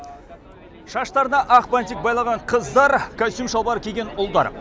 шаштарына ақ бантик байлаған қыздар костюм шалбар киген ұлдар